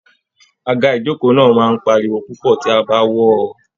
Àga Ijoko náà máa n páríwó púpọ tí a bá wọọ.